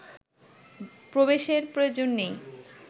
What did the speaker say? প্রবেশের প্রয়োজন নেই